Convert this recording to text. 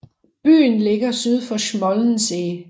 Byen ligger lige syd for Schmollensee